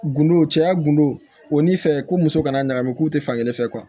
Gundo cɛya gundo o ni fɛn ko muso kana na ɲagami k'u tɛ fankelen fɛ